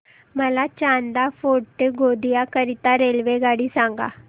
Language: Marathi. मला चांदा फोर्ट ते गोंदिया करीता रेल्वेगाडी सांगा